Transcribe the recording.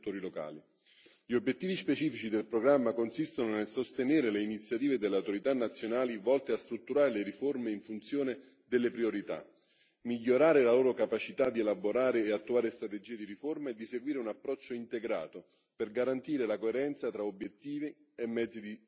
Gli obiettivi specifici del programma consistono nel sostenere le iniziative delle autorità nazionali volte a strutturare le riforme in funzione delle priorità, migliorare la loro capacità di elaborare e attuare strategie di riforme e seguire un approccio integrato per garantire la coerenza tra obiettivi e mezzi di tutti i settori.